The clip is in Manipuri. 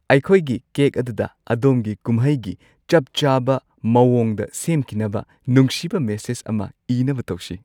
ꯑꯩꯈꯣꯢꯒꯤ ꯀꯦꯛ ꯑꯗꯨꯗ ꯑꯗꯣꯝꯒꯤ ꯀꯨꯝꯍꯩꯒꯤ ꯆꯞ ꯆꯥꯕ ꯃꯑꯣꯡꯗ ꯁꯦꯝꯈꯤꯅꯕ ꯅꯨꯡꯁꯤꯕ ꯃꯦꯁꯦꯖ ꯑꯃ ꯏꯅꯕ ꯇꯧꯁꯦ꯫